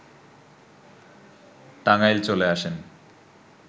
টাঙ্গাইল চলে আসেন